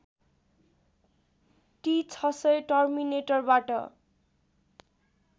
T ६०० टर्मिनेटरबाट